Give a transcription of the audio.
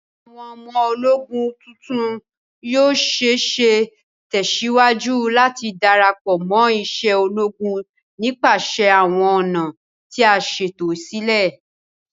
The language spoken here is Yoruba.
Awọn ọmọ-ologún tuntun yoo ṣee ṣe tẹsiwaju lati darapọ mo ise ologun nipasẹ awọn ọna ti a ṣeto silẹ